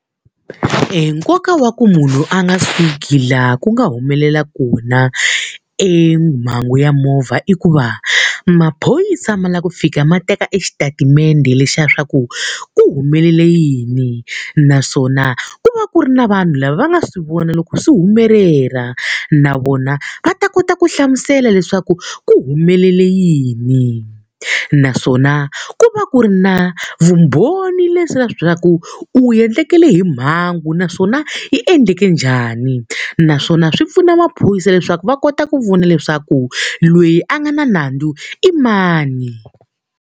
Enkoka wa ku munhu a nga suki laha ku nga humelela kona emhangu ya movha i ku va, maphorisa ma lava ku fika ma teka exitatimende lexi xa swa ku ku humelela yini naswona ku va ku ri na vanhu lava va nga swi vona loko swi humelela, na vona va ta kota ku hlamusela leswaku ku humelele yini. Naswona ku va ku ri na vumbhoni leswaku u endlekele hi mhangu naswona yi endleke njhani, naswona swi pfuna maphorisa leswaku va kota ku vona leswaku loyi a nga na nandzu i mani.